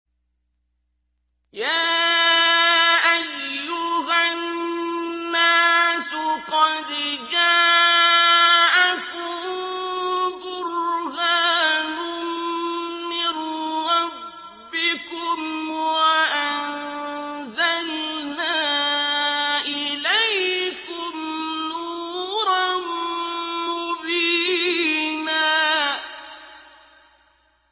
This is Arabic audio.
يَا أَيُّهَا النَّاسُ قَدْ جَاءَكُم بُرْهَانٌ مِّن رَّبِّكُمْ وَأَنزَلْنَا إِلَيْكُمْ نُورًا مُّبِينًا